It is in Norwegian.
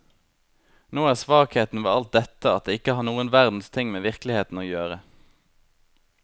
Nå er svakheten ved alt dette at det ikke har noen verdens ting med virkeligheten å gjøre.